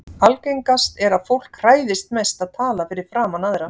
algengast er að fólk hræðist mest að tala fyrir framan aðra